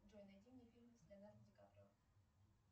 джой найди мне фильмы с леонардо ди каприо